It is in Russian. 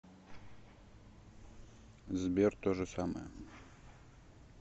сбер то же самое